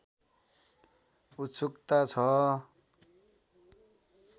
उत्सुकता छ